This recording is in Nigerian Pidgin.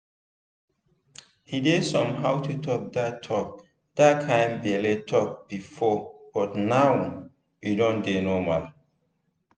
e dey somehow to talk that talk that kind belle talk before but now e don dey normal.